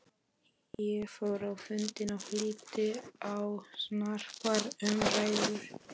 Ég fór á fundinn og hlýddi á snarpar umræður.